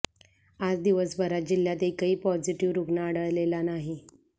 आज दिवसभरात जिल्ह्यात एकही पॉझिटिव्ह रुग्ण आढळलेला नाही